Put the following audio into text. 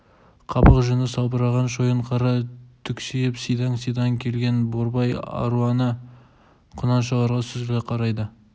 қабақ жүні салбыраған шойынқара түксиіп сидаң-сидаң желген борбай аруана құнаншаларға сүзіле қарайды